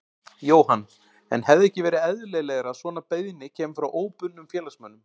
Jóhann: En hefði ekki verið eðlilegra að svona beiðni kæmi frá óbundnum félagsmönnum?